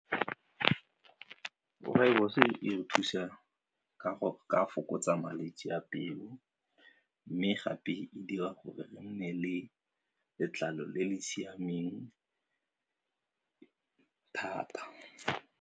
Rooibos e re thusa ka go ka fokotsa malwetse a pelo mme gape e dira gore e nne le letlalo le le siameng thata.